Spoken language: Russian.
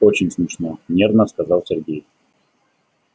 очень смешно нервно сказал сергей